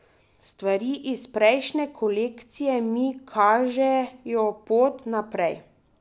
Stvari iz prejšnje kolekcije mi kažejo pot naprej.